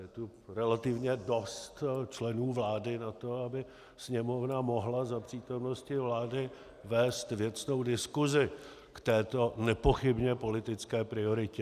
Je tu relativně dost členů vlády na to, aby Sněmovna mohla za přítomnosti vlády vést věcnou diskusi k této nepochybně politické prioritě.